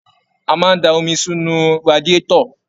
A máa n da omi sinú radiatọ̀.